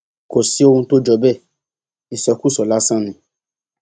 kò sí ohun tó jọ bẹẹ ìsọkúsọ lásán ni